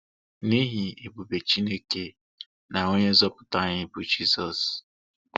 N'ihi ebube Chineke na onye nzọpụta anyị bụ Jizọs.